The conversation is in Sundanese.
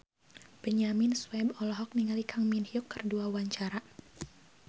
Benyamin Sueb olohok ningali Kang Min Hyuk keur diwawancara